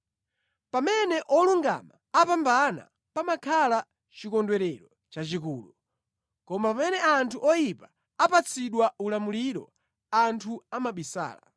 Pamene olungama apambana pamakhala chikondwerero chachikulu; koma pamene anthu oyipa apatsidwa ulamuliro, anthu amabisala.